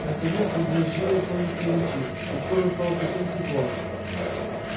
наконец забрезжили солнечные лучи и скоро стало совсем светло